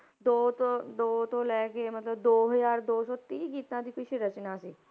ਦੋ ਤੋਂ ਦੋ ਤੋਂ ਲੈ ਕੇ ਮਤਲਬ ਦੋ ਹਜ਼ਾਰ ਦੋ ਸੌ ਤੀਹ ਗੀਤਾਂ ਦੀ ਕੁਛ ਰਚਨਾ ਸੀ।